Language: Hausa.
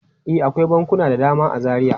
E, akwai bankuna da dama a Zaria.